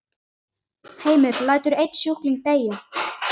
Heimir: Lætur einn sjúkling deyja?